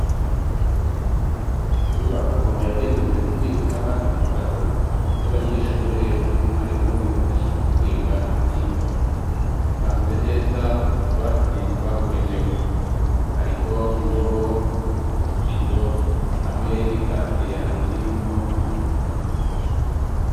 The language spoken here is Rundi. Inyubako yagenewe kubika ibitabo vy'abanyeshuri ,hamwe na mwarimu bifashisha mu kwiga ivyigwa bipanze neza mu tubati twabugenewe ,hariho indobo, utubido, hamwe n'ikaziya hirimwo amacupa.